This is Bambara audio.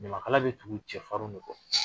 Ɲamakala bɛ tugu cɛfarinw de kɔ